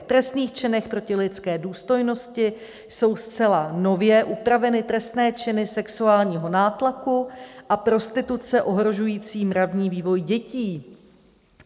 V trestných činech proti lidské důstojnosti jsou zcela nově upraveny trestné činy sexuálního nátlaku a prostituce ohrožující mravní vývoj dětí.